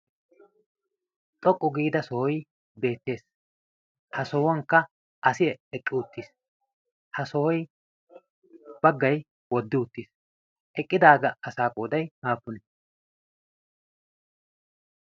xoqqu giida sohoi beettees. ha sohuwankka asi eqqi uttiis. ha sohoy baggay woddi uttiis eqqidaaga asaa qooday aappunee?